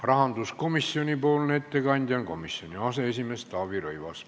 Rahanduskomisjoni ettekandja on komisjoni aseesimees Taavi Rõivas.